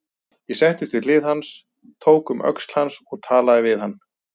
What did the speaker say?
Ég settist við hlið hans, tók um öxl hans og talaði við hann.